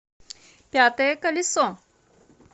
пятое колесо